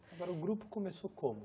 Agora o grupo começou como?